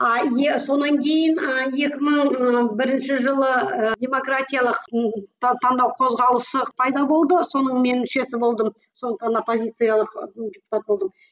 а е сонан кейін ы екі мың ы бірінші жылы ы демократиялық таңдау қозғалысы пайда болды соның мен мүшесі болдым сондықтан да оппозициялық